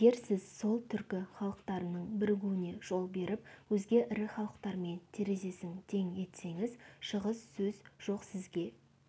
егер сіз сол түркі халықтарының бірігуіне жол беріп өзге ірі халықтармен терезесін тең етсеңіз шығыс сөз жоқ сізге